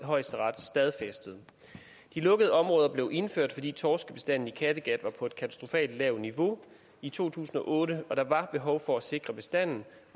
højesteret stadfæstet de lukkede områder blev indført fordi torskebestanden i kattegat var på et katastrofalt lavt niveau i to tusind og otte og der var behov for at sikre bestanden